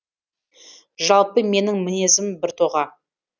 жалпы менің мінезім біртоға